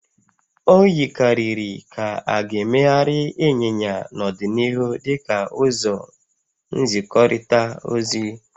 O yikarịrị ka a ga-emegharị ịnyịnya n'ọdịnihu dị ka ụzọ nzikọrịta ozi